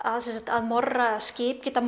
að morra eða skip getað